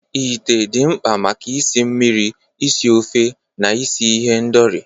Ite dị mkpa maka isi mmiri, isi ofe, na isi ihendori.